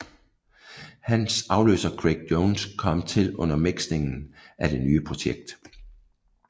Hans afløser Craig Jones kom til under miksningen af det nye projekt